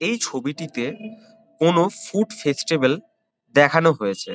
এই ছবিটিতে কোনো ফুড ফেস্টিভেল দেখানো হয়েছে।